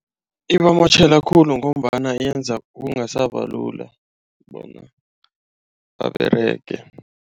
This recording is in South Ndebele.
Ibamotjhela khulu ngombana yenza kungasaba lula bona baberege.